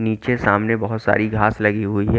नीचे सामने बहुत सारी घास लगी हुई है।